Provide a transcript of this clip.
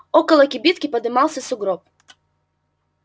около кибитки подымался сугроб